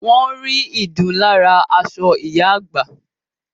Wọ́n rí ìdun lára aṣọ ìyá àgbà